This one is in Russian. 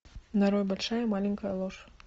нарой большая маленькая ложь